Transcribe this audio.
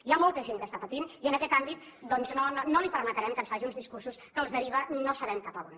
hi ha molta gent que està patint i en aquest àmbit no li permetrem que ens faci uns discursos que els deriva no sabem cap a on